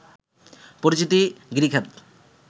পরিচিত গিরিখাত